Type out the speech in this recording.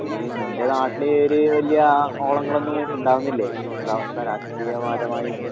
നീ നിന്റെ നാട്ടില് ഒര് വല്യ ഓളങ്ങളൊന്നും വ ഇണ്ടാവുന്നില്ലേ? എന്താവസ്ഥ രാഷ്ട്രീയപരമായിട്ട്?